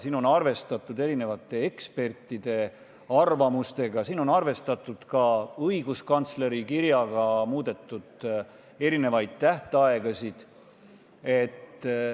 Siin on arvestatud erinevate ekspertide arvamustega, siin on arvestatud ka õiguskantsleri kirjaga, muudetud on mitut tähtaega.